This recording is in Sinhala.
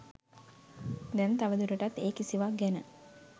දැන් තව දුරටත් ඒ කිසිවක් ගැන